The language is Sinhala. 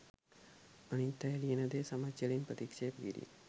අනිත් අය ලියන දෙය සමච්චලෙන් ප්‍රතික්ෂේප කිරීම